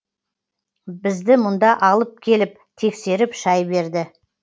бізді мұнда алып келіп тексеріп шай берді